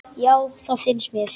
Já, það finnst mér.